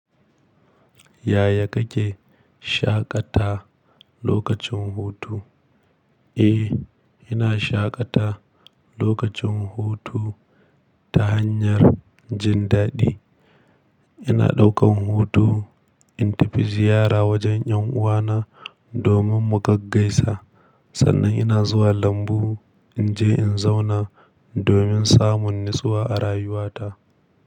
Yaya kake shaƙata lokacin hutu? Eh, ina shaƙata lokacin hutu ta hanyar jin daɗi. Ina ɗaukan hutu in tafi ziyara wajen ‘yan uwana domin mu gaggaisa. Sannan ina zuwa lambu in je in zauna domin samun natsuwa a rayuwata.